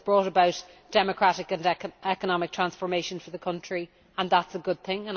It has brought about democratic and economic transformation for the country, and that is a good thing.